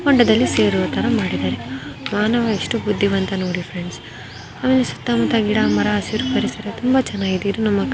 ಮಾನವ ಎಷ್ಟು ಬುದ್ಧಿವಂತ ನೋಡಿ ಫ್ರೆಂಡ್ ಅವನ ಸುತ್ತಮುತ್ತ ಗಿಡ ಮರ ಹಸಿರು ಪರಿಸರ ತುಂಬಾ ಚೆನ್ನಾಗಿದೆ ಇದು ನಮ್ಮ ಕರ್ನಾಟಕ ಸ್ಟೇಟ್ ಅಲ್ಲಿರೋ ಬಿಜಾಪುರಲ್ಲಿ ನಿಮಗೆ ಸಿಗುತ್ತೆ.